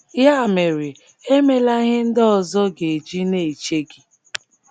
Ya mere, emela ihe ndị ọzọ ga - eji na - eche gị.